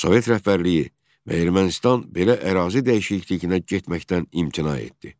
Sovet rəhbərliyi və Ermənistan belə ərazi dəyişikliyinə getməkdən imtina etdi.